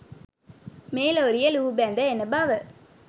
මේ ලොරිය ලූහුබැද එන බව